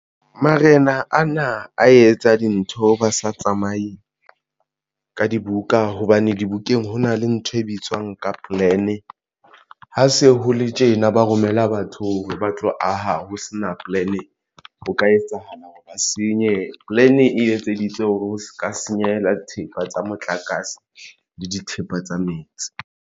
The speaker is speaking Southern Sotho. Marena ana a etsa dintho ba sa tsamaye ka dibuka hobane dibukeng ho na le ntho e bitswang ka plan. Ha se ho le tjena ba romella batho ba tlo aha ho sena plan ho ka etsahala hore ba senye. Plan e etseditswe hore o se ka senyehela dithepa tsa motlakase le dithepa tsa metsi.